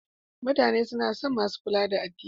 Mutane suna son masu kula da addini.